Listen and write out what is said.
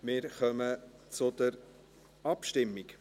Wir kommen zur Abstimmung.